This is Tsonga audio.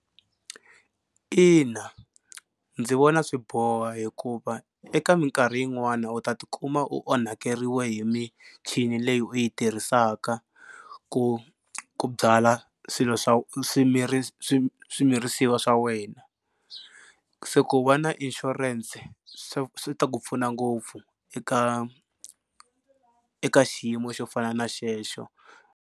Ina ndzi vona swi boha hikuva eka minkarhi yin'wani u ta tikuma u onhakeriwa hi michini leyi u yi tirhisaka ku ku byala swilo swa swimirisiwa swa wena. Se ku va na insurance swi ta ku pfuna ngopfu eka eka xiyimo xo fana na xexo.